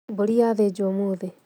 Mbũri yathĩnjwo ũmũthĩ